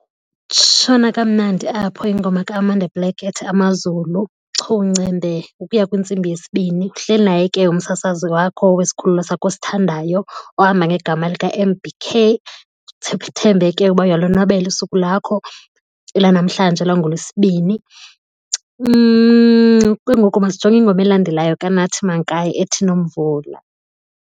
Tshona kamnandi apho ingoma kaAmanda Black ethi Amazulu chungcembe ukuya kwintsimbi yesibini. Uhleli naye ke umsasazi wakho wesikhululo sakho osithandayo ohamba ngegama lika-M_B_K ndithembe ke uba uyalonwabela usuku lwakho lwanamhlanje lwangoLwesibini. Ke ngoku masijonge ingoma elandelayo kaNathi Mankayi ethi Nomvula.